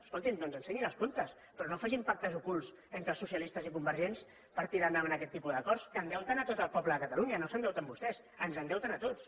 escolti’m doncs ensenyin els comptes però no facin pactes ocults entre socialistes i convergents per tirar endavant aquest tipus d’acords que endeuten a tot el poble de catalunya no s’endeuten vostès ens endeuten a tots